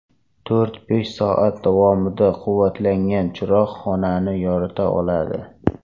To‘rt-besh soat davomida quvvatlangan chiroq xonani yorita oladi.